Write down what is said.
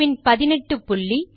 பின் 18 புள்ளி